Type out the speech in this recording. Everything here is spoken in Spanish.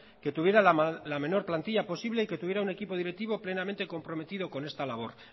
que tuviera la menor plantilla posible y que tuviera un equipo directivo plenamente comprometido con esta labor